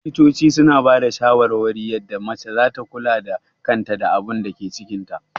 Likitoci suna bada shawarwari yadda mace zata kula da kanta da abunda yake cikin ta